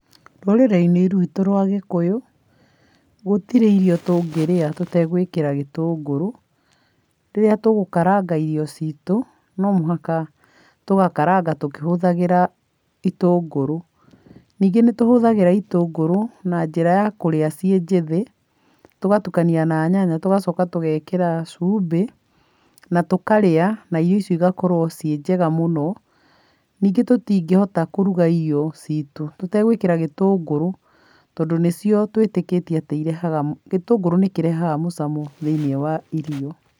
Rũrĩrĩ -inĩ rwitũ rwa gĩkũyũ, gũtirĩ irio tũngĩrĩa tũtegwĩkĩra gĩtũngũrũ, rĩrĩa tũgũkaranga irio citũ, no mũhaka tũgakaranga tũkĩhũthagĩra itũngũrũ, ningĩ nĩ tũhũthĩraga itũngũrũ na njĩra ya kũrĩa ciĩ njĩthĩ, tũgatukania na nyanya tũgacoka tũgekĩra cumbĩ, na tũkarĩa na irio icio cigakorwo ciĩ njega mũno, ningĩ tũtingĩhota kũruga irio citũ tũtegwĩkĩra gĩtũngũrũ, tondũ nĩcio twĩtĩkĩtie atĩ irehaga, gĩtũngũrũ nĩkĩrehaga mũcamo thĩinĩ wa irio.